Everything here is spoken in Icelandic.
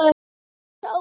Haltu þessu áfram.